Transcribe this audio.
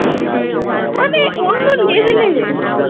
মানে অন্য level এর।